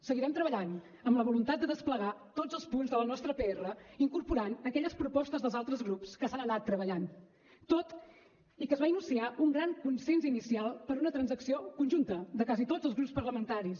seguirem treballant amb la voluntat de desplegar tots els punts de la nostra pr incorporant aquelles propostes dels altres grups que s’han anat treballant tot i que es va iniciar un gran consens inicial per una transacció conjunta de quasi tots els grups parlamentaris